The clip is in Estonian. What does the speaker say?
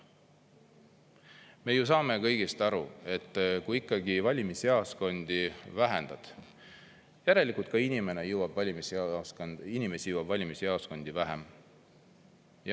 Me ju saame kõigest aru, et kui ikkagi valimisjaoskondi vähendad, siis järelikult inimesi jõuab valimisjaoskonda vähem.